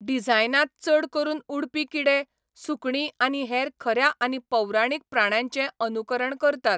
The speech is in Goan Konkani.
डिझायनांत चड करून उडपी किडे, सुकणीं आनी हेर खऱ्या आनी पौराणीक प्राण्यांचें अनुकरण करतात.